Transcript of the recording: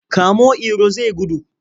Kamo Iro zai gudu!